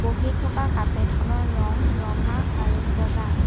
বহি থকা কাৰ্পেট খনৰ ৰং ৰঙা আৰু বগা।